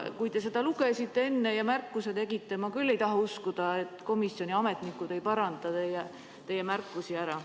Kui te enne lugesite ja märkuse tegite, siis ma küll ei taha uskuda, et komisjoni ametnikud ei arvesta teie märkusi.